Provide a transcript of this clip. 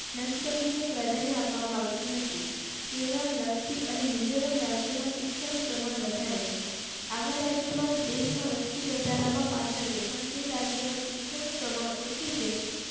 નસબંધી ને પ્રાધાન્ય આપવામાં આવતું નથી. કેરળ લક્ષદ્વીપ અને મિઝોરમ રાજ્ય માં શિક્ષણ નું પ્રમાણ વધારે છે. આવા રાજ્યો માં દેશ માં વસ્તી વધારા પાછળ આજે પણજી રાજ્ય માં શિક્ષણ નું પ્રમાણ ઓછું છે